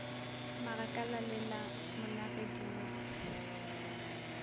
magakala le la monagedi mo